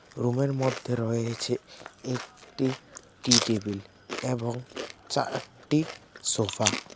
রুমের মধ্যে রয়েছে একটি টি টেবিল এবং চারটি সোফা .